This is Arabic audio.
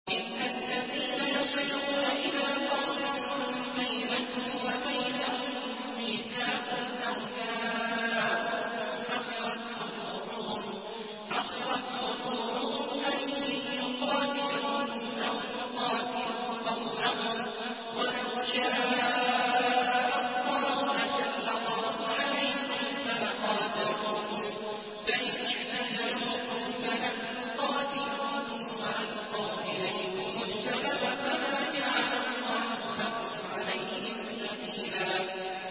إِلَّا الَّذِينَ يَصِلُونَ إِلَىٰ قَوْمٍ بَيْنَكُمْ وَبَيْنَهُم مِّيثَاقٌ أَوْ جَاءُوكُمْ حَصِرَتْ صُدُورُهُمْ أَن يُقَاتِلُوكُمْ أَوْ يُقَاتِلُوا قَوْمَهُمْ ۚ وَلَوْ شَاءَ اللَّهُ لَسَلَّطَهُمْ عَلَيْكُمْ فَلَقَاتَلُوكُمْ ۚ فَإِنِ اعْتَزَلُوكُمْ فَلَمْ يُقَاتِلُوكُمْ وَأَلْقَوْا إِلَيْكُمُ السَّلَمَ فَمَا جَعَلَ اللَّهُ لَكُمْ عَلَيْهِمْ سَبِيلًا